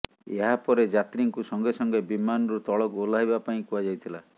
ଏହାପରେ ଯାତ୍ରୀଙ୍କୁ ସଙ୍ଗେସଙ୍ଗେ ବିମାନରୁ ତଳକୁ ଓହ୍ଲାଇବା ପାଇଁ କୁହାଯାଇଥିଲା